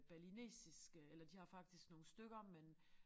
Balinesiske eller de har faktisk nogle stykker men